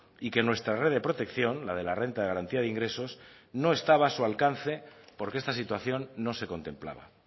y que nuestra red de protección la de la renta de garantía de ingresos no estaba a su alcance porque esta situación no se contemplaba